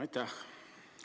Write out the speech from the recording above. Aitäh!